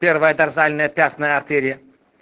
первая дорзальная пястная артерия